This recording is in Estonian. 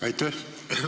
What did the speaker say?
Aitäh!